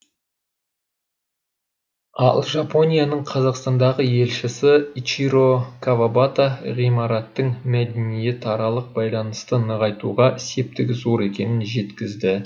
ал жапонияның қазақстандағы елшісі ичиро кавабата ғимараттың мәдениетаралық байланысты нығайтуға септігі зор екенін жеткізді